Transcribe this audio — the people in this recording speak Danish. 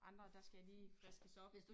Andre der skal jeg lige friskes op